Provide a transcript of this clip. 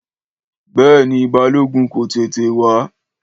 Béèni, Balógun kò tètè wá